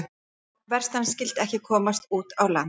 Já, verst að hann skyldi ekki komast út á land.